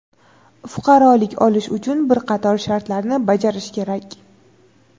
fuqarolik olish uchun bir qator shartlarni bajarish kerak.